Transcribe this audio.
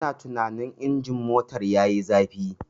Ina tunanin injin motar yayi zafi.